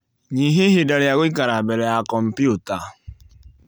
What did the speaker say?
Nyihia ihinda rĩa gũikara mbele ya kompyuta